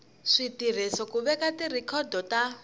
switirhiso ku veka tirhikhodo ta